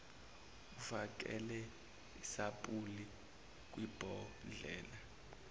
ufakele isampuli kwibhodlela